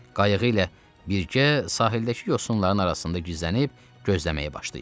Qayığı ilə birgə sahildəki yosunların arasında gizlənib gözləməyə başlayır.